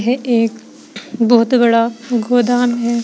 ये एक बहुत बड़ा गोदाम है।